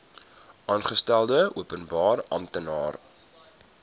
aangestelde openbare amptenaar